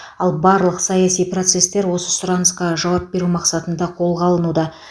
ал барлық саяси процестер осы сұранысқа жауап беру мақсатында қолға алынуда